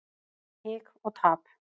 Hik og tap.